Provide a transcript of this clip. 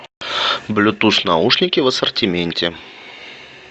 блютуз наушники в ассортименте